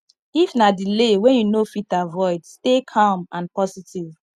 if na delay wey you no fit avoid stay calm and positive